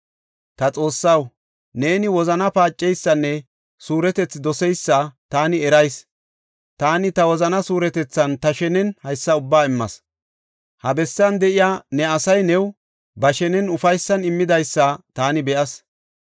“Ta Xoossaw neeni wozanaa paaceysanne suuretethi doseysa taani erayis. Taani ta wozana suuretethan ta shenen hessa ubbaa immas. Ha bessan de7iya ne asay new ba shenen ufaysan immidaysa taani be7as.